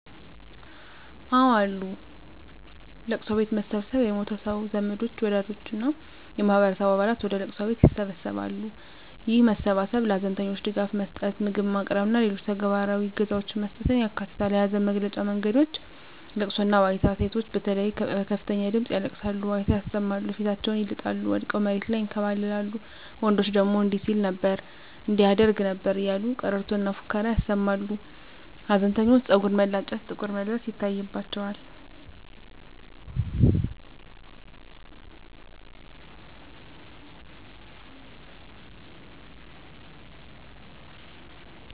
አወ አሉ፦ ለቅሶ ቤት መሰብሰብ የሞተው ሰው ዘመዶች፣ ወዳጆች እና የማህበረሰቡ አባላት ወደ ለቅሶ ቤት ይሰበሰባሉ። ይህ መሰባሰብ ለሀዘንተኞች ድጋፍ መስጠት፣ ምግብ ማቅረብ እና ሌሎች ተግባራዊ እገዛዎችን መስጠትን ያካትታል። የሀዘን መግለጫ መንገዶች * ለቅሶና ዋይታ: ሴቶች በተለይ በከፍተኛ ድምጽ ያለቅሳሉ፣ ዋይታ ያሰማሉ፣ ፊታቸውን ይልጣሉ፣ ወድቀው መሬት ላይ ይንከባለላሉ፤ ወንዶች ደግሞ እንዲህ ሲል ነበር እንዲህ ያደርግ ነበር እያሉ ቀረርቶና ፉከራ ያሰማሉ። ሀዘንተኞች ፀጉር መላጨት፣ ጥቁር መልበስ ይታይባቸዋል።